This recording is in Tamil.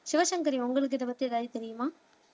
சிவசங்கரி உங்களுக்கு இதை பத்தி ஏதாவது தெரியுமா